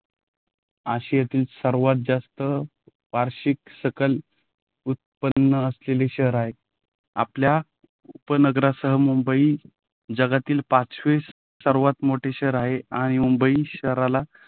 आशियातील सर्वात जास्त वार्षिक सकल उत्पन्न असलेले शहर आहे. आपल्या उपनगरासह मुंबई जगातील पाचवे सर्वात मोठे शहर आहे आणि मुंबई शहराला